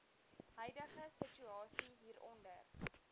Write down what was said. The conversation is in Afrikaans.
huidige situasie hieronder